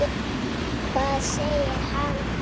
Hvað segir hann?